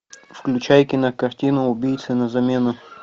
включай кинокартину убийца на замену